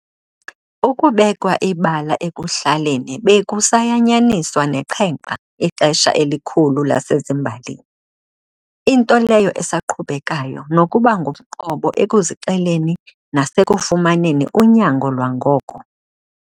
Ukubekwa ibala ekuhlaleni bekusayanyaniswa neqhenqa ixesha elikhulu lasezimbalini, into leyo esaqhubekayo nokuba ngumqobo ekuzixeleni nasekufumaneni unyango lwangoko.